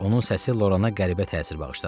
Onun səsi Lorana qəribə təsir bağışladı.